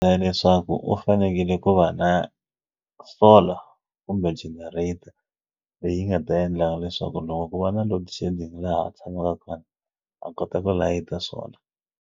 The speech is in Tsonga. leswaku u fanekele ku va na solar kumbe generator leyi nga ta endla leswaku loko ku va na load shedding laha a tshamaka kona a kota ku layita swona.